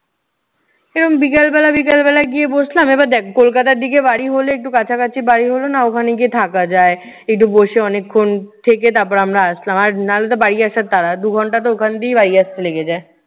এইরম বিকালবেলা বিকালবেলা গিয়ে বসলাম, এবার দেখ কলকাতার দিকে বাড়ি হলে একটু কাছকাছি বাড়ি হলে না ওখানে গিয়ে থাকা যায়। একটু বসে অনেকক্ষণ থেকে তারপর আমরা আসলাম। আর না হলেতো বাড়ি আসার তাড়া। দু ঘন্টাতো ওখান থেকে বাড়ি আসতে লেগে যায়।